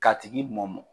K'a tigi mɔmɔ